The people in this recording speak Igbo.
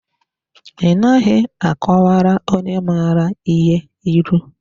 I naghị a kọwara onye mara ihe ịlụ.